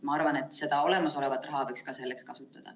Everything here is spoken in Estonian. Ma arvan, et seda olemasolevat raha võiks ka selleks kasutada.